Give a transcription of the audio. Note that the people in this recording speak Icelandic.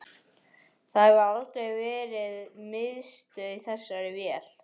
Það hefur aldrei verið miðstöð í þessari vél